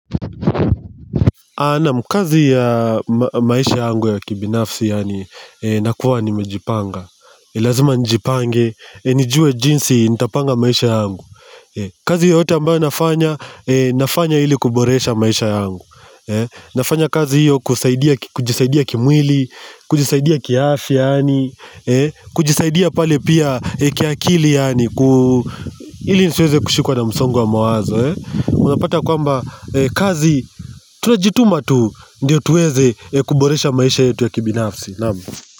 Ana mkazi ya maisha yangu ya kibinafsi yaani nakuwa nimejipanga Lazima njipange, nijue jinsi nitapanga maisha yangu kazi yote ambayo nafanya, nafanya hili kuboresha maisha yangu Nafanya kazi hiyo kujisaidia kimwili, kujisaidia kiafya yaani kujisaidia pale pia kiakili yaani Hili nisiweze kushikuwa na msongo mawazo Unapata kwamba kazi Tunajituma tu Ndiyo tuweze kuboresha maisha yetu ya kibinafsi Naam.